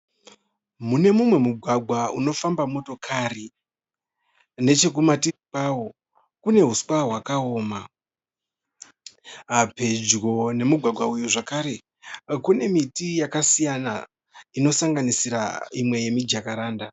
Mune mumwe mugwagwa unofamba motokari. Nechekumativi kwawo kune huswa hwakaoma. Pedyo nemumugwagwa uyu zvakare kune miti yakasiyana inosanganisira imwe yemijakaranda.